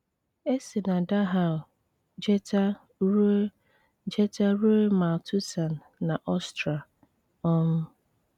E si na Dahau jeeta rue jeeta rue Mauthausen na Austria. um